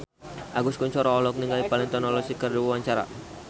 Agus Kuncoro olohok ningali Valentino Rossi keur diwawancara